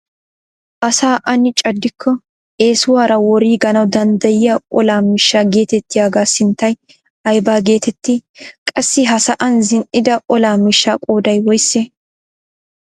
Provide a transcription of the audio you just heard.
Asaa aani caaddiko eesuwaara woriiganawu danddiyaa olaa miishshaa getettiyaagaa sinttay aybaa getettii? qassi ha sa'an zin"ida ola mishshaa qooday woysee?